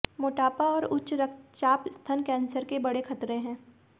मोटापा और उच्च रक्तचाप स्तन कैंसर के बड़े खतरे हैं